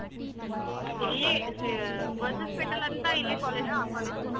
ಇಲ್ಲಿ ಆ ಏ ಅಂತ college ಆ college ಹೋಗ್ತಾಇದಿನಿ.